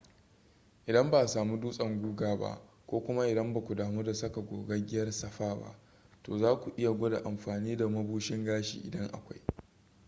idan ba a samu dutsen guga ba ko kuma idan ba ku damu da saka gogaggiyar safa ba to za ku iya gwada amfani da mabushin gashi idan akwai